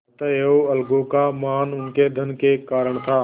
अतएव अलगू का मान उनके धन के कारण था